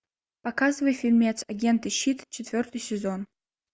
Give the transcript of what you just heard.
показывай фильмец агенты щит четвертый сезон